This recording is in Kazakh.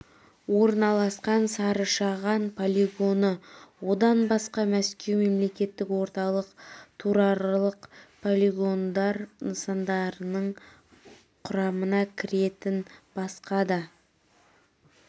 орналасқан сары-шаған полигоны одан басқа мәскеу мемлекеттік орталық түраралық полигондар нысандарының құрамына кіретін басқа да